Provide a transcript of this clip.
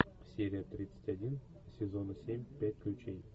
серия тридцать один сезона семь пять ключей